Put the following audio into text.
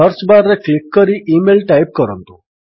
search ବାର୍ରେ click କରି email type କରନ୍ତୁ